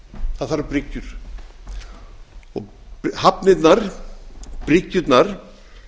það þarf bryggjur og hafnirnar bryggjurnar